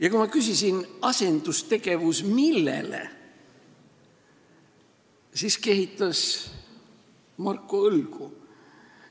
Ja kui ma küsisin, et asendustegevus mille asemel, siis kehitas Marko õlgu.